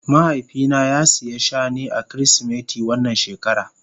Mahaifi na ya siya Shane a kirisimeti wannan shekara.